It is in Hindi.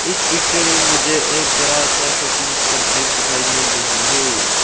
इस पिक्चर में मुझे एक बड़ा सा शॉपिंग कॉम्प्लेक्स दिखाई मिल रही है।